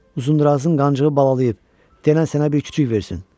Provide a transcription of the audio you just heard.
Uzundırazın qancığı balalayıb, denən sənə bir kiçik versin.